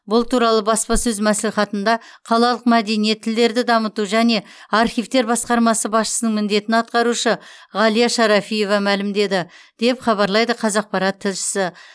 бұл туралы баспасөз мәслихатында қалалық мәдениет тілдерді дамыту және архивтер басқармасы басшысының міндетін атқарушы ғалия шарафиева мәлімдеді деп хабарлайды қазақпарат тілшісі